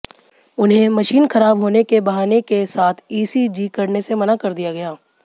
उन्हें मशीन खराब होने बहाने के साथ ईसीजी करने से मना कर दिया गया